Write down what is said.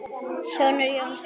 Sonur Jóns er Grétar Þór.